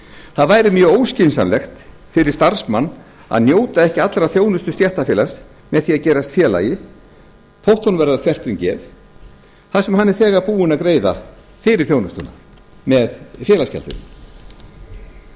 það væri mjög óskynsamlegt fyrir starfsmann að njóta ekki allrar þjónustu stéttarfélags með því að gerast félagi þótt honum væri það þvert um geð þar sem hann er þegar búinn að greiða fyrir þjónustuna með félagsgjaldinu ég